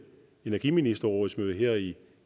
energiministerrådsmøde her i